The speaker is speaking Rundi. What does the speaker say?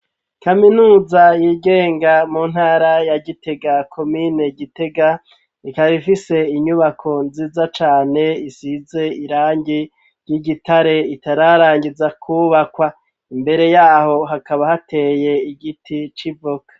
Kaminuza yigenga mu ntara ya gitega komine gitega ,ikaba ifise inyubako nziza cane isize irangi ry'igitare itararangiza kubakwa, imbere yaho hakaba hateye igiti civoka.